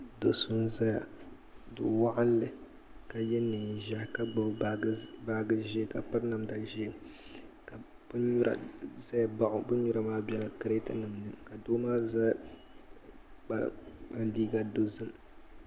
Do so n ʒɛya do waɣanli ka yɛ neen ʒiɛhi ka gbubi baaji ʒiɛ ka piri namda ʒiɛ bin nyura ʒɛya baɣa o bin nyura maa biɛla kirɛt nim ni ka doo maa yɛ liiga dozim